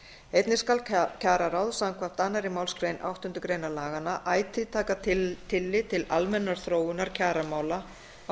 einnig skal kjararáð samkvæmt annarri málsgrein áttundu grein laganna ætíð taka tillit til almennrar þróunar kjaramála á